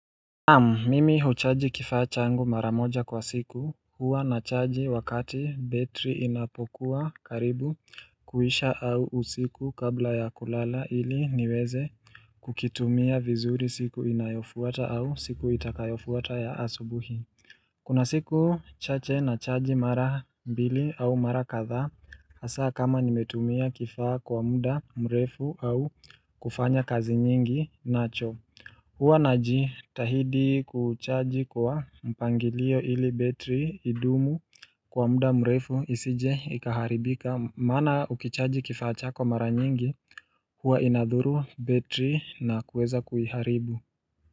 Mimi huchaji kifaa changu mara moja kwa siku, huwa nachaji wakati betri inapokuwa karibu kuisha au usiku kabla ya kulala ili niweze kukitumia vizuri siku inayofuata au siku itakayofuata ya asubuhi. Kuna siku chache nachaji mara mbili au mara kathaa, hasa kama nimetumia kifaa kwa muda mrefu au kufanya kazi nyingi nacho. Huwa najitahidi kuchaji kwa mpangilio ili betri idumu kwa muda mrefu isije ikaharibika maana ukichaji kifaa chako mara nyingi huwa inadhuru betri na kuweza kuiharibu.